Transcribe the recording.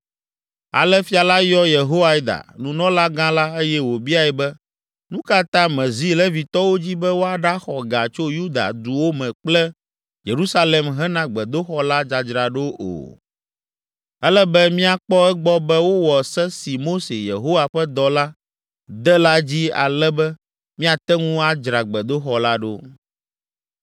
Ale fia la yɔ Yehoiada, nunɔlagã la eye wòbiae be, “Nu ka ta mèzi Levitɔwo dzi be woaɖaxɔ ga tso Yuda duwo me kple Yerusalem hena gbedoxɔ la dzadzraɖo o? Ele be míakpɔ egbɔ be wowɔ se si Mose, Yehowa ƒe dɔla, de la dzi ale be míate ŋu adzra gbedoxɔ la ɖo.”